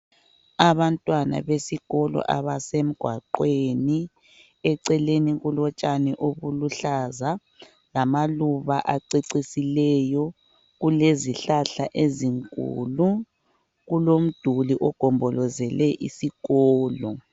Abantwana besikolo abasemgwaqweni, eceleni kulotshani obuluhlaza, lamaluba acecisileyo, kulezihlahla ezinkulu, kulomduli ogombozele isikolo.